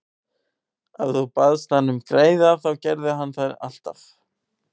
Ef þú baðst hann um greiða þá gerði hann það alltaf.